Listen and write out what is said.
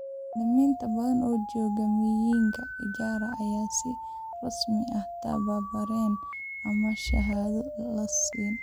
Macallimiin badan oo jooga miyiga Ijara ayaan si rasmi ah u tababarin ama shahaado la siin.